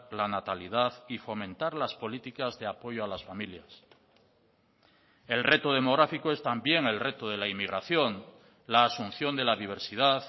la natalidad y fomentar las políticas de apoyo a las familias el reto demográfico es también el reto de la inmigración la asunción de la diversidad